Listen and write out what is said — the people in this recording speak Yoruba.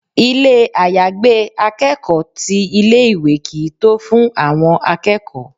Ilé àyágbé akẹ́kọ̀ọ́ ti ilé ìwé kìí tó fún àwọn akẹ́kọ̀ọ́